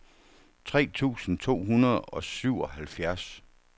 tre tusind to hundrede og syvoghalvfjerds